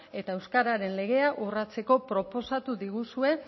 eta euskararen legea urratzeko proposatu diguzue